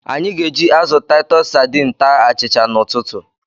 Anyị ga-eji azụ Titus Sadin taa achịcha n'ụtụtụ.